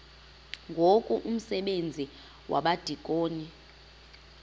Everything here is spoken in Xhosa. ngoku umsebenzi wabadikoni